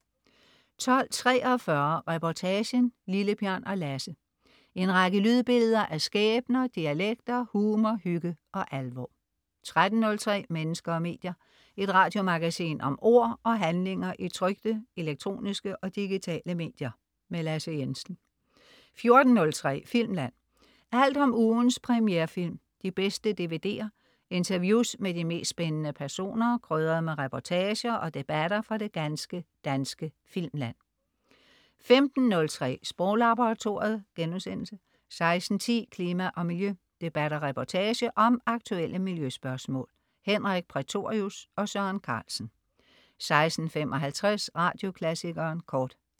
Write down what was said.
12.43 Reportagen: Lille-Bjørn og Lasse. En række lydbilleder af skæbner, dialekter, humor, hygge og alvor 13.03 Mennesker og medier. Et radiomagasin om ord og handlinger i trykte, elektroniske og digitale medier. Lasse Jensen 14.03 Filmland. Alt om ugens premierefilm, de bedste DVD'er, interviews med de mest spændende personer, krydret med reportager og debatter fra det ganske danske filmland 15.03 Sproglaboratoriet* 16.10 Klima og Miljø. Debat og reportage om aktuelle miljøspørgsmål. Henrik Prætorius og Søren Carlsen 16.55 Radioklassikeren Kort